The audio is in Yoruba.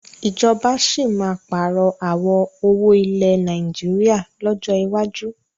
Ìjọba síí má pààrọ̀ àwọ̀ owó ilẹ̀ Nàìjíríà lọ́jọ́ iwájú